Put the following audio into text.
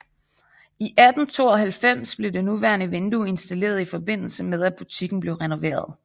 I 1892 blev det nuværende vindue installeret i forbindelse med at butikken blev renoveret